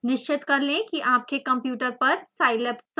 निश्चित कर लें कि आपके कंप्यूटर पर scilab संस्थापित हो